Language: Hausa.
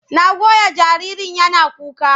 Na goya jaririn yana kuka.